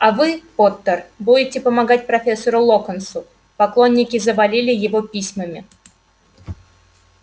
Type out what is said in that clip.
а вы поттер будете помогать профессору локонсу поклонники завалили его письмами